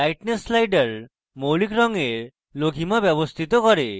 lightness slider মৌলিক রঙের লঘিমা ব্যবস্থিত করে